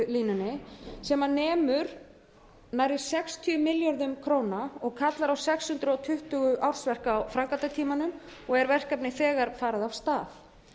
á framleiðslulínunni sem nemur nærri sextíu milljörðum króna og kallar á sex hundruð tuttugu ársverk á framkvæmdatímanum og er verkefnið þegar farið af stað